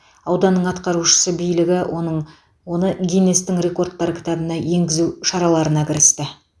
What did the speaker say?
ауданның атқарушысы билігі оның оны гиннестің рекордтар кітабына енгізу шараларына кірісті